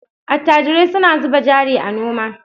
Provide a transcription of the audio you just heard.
Attajirai suna zuba jari a noma.